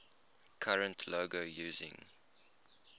current logo using